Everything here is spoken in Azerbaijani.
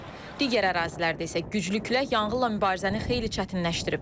Digər ərazilərdə isə güclü külək yanğınla mübarizəni xeyli çətinləşdirib.